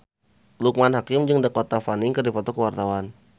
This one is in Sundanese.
Loekman Hakim jeung Dakota Fanning keur dipoto ku wartawan